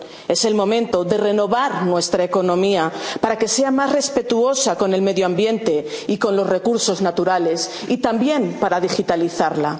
Es el momento de renovar nuestra economía para que sea más respetuosa con el medio ambiente y con los recursos naturales, y también para digitalizarla.